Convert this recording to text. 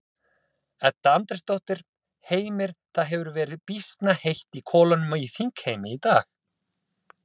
Edda Andrésdóttir: Heimir, það hefur verið býsna heitt í kolunum í þingheimi í dag?